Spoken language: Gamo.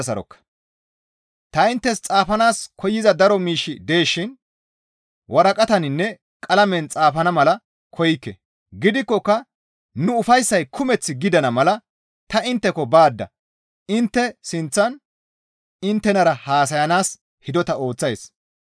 Ta inttes xaafanaas koyza daro miishshi deessishin waraqataninne qalamen xaafana mala koykke; gidikkoka nu ufayssay kumeth gidana mala ta intteko baada intte sinththan inttenara haasayanaas hidota ooththays.